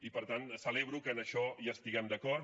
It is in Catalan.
i per tant celebro que en això estiguem d’acord